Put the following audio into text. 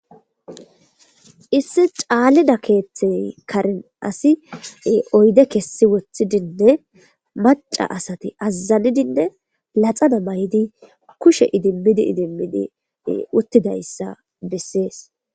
Issi caalida keeththey karen asi oyde kessi wothidinne maca asati azzanidinne laxana maydi kushe idimmidi idimmidi uttidayssa bessees.